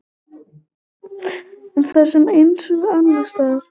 En það er eins og annarsstaðar.